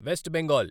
west Bengal